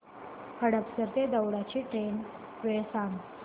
हडपसर ते दौंड ची ट्रेन वेळ सांग